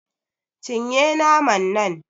Cin ye naman nan